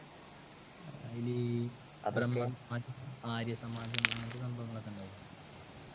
അതിലെ ആര്യ ആര്യസമാജം അങ്ങനത്തെ സംഭവങ്ങളൊക്കെ ഉണ്ടായില്ലേ